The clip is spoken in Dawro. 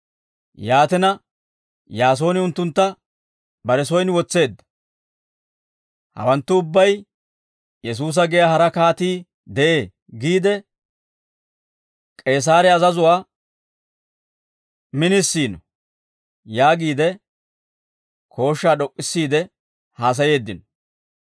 Yaatina Yaasooni unttuntta bare soyin wotseedda; hawanttu ubbay, ‹Yesuusa giyaa hara kaatii de'ee› giide K'eesaare azazuwaa minisiino» yaagiide, kooshshaa d'ok'k'issiide haasayeeddino.